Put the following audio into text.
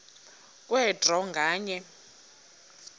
kwe draw nganye